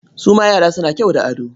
Su ma yara suna kyau da ado?